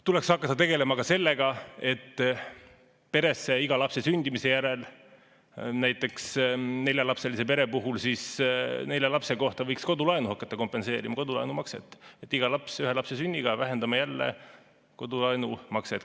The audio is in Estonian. Tuleks hakata tegelema ka sellega, et peresse iga lapse sündimise järel, näiteks neljalapselise pere puhul nelja lapse kohta, võiks kodulaenu hakata kompenseerima, kodulaenu makset, nii et me iga lapse sünniga vähendame jälle kodulaenu makset.